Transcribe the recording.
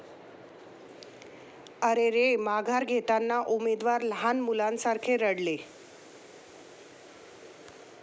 अरेरे, माघार घेताना उमेदवार लहान मुलासारखे रडले